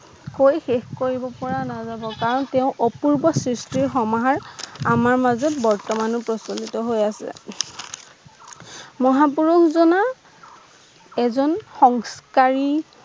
কৈ শেষ কৰিব পৰা নাযাব কাৰণ তেওঁৰ অপূৰ্ব সৃষ্টিৰ সমাহাৰ আমাৰ মাজত বৰ্তমানও প্ৰচলিত হৈ আছে মহাপুৰুষ জনা এজন সংস্কাৰী